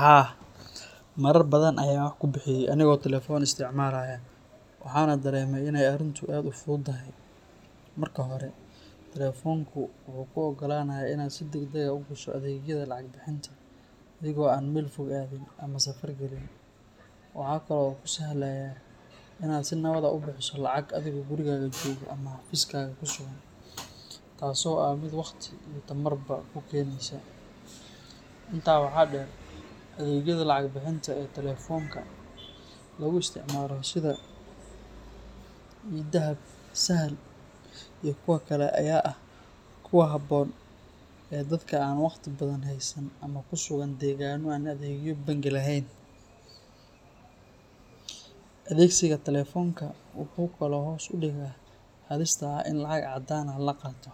Haa, marar badan ayaan wax ku bixiyay anigoo telefoon isticmaalaya, waxaana dareemay inay arrintu aad u fudud tahay. Marka hore, telefoonku wuxuu kuu oggolaanayaa inaad si degdeg ah u gasho adeegyada lacag-bixinta, adigoo aan meel fog aadin ama safar gelin. Waxa kale oo uu kuu sahlayaa inaad si nabad ah u bixiso lacag adigoo gurigaaga jooga ama xafiiskaaga ku sugan, taasoo ah mid waqti iyo tamarba kuu keynaysa. Intaa waxaa dheer, adeegyada lacag-bixinta ee telefoonka lagu isticmaalo sida eDahab, Sahal, iyo kuwo kale ayaa aad ugu habboon dadka aan waqti badan haysan ama ku sugan deegaanno aan adeegyo bangi lahayn. Adeegsiga telefoonka wuxuu kaloo hoos u dhigaa halista ah in lacag caddaan ah la qaato,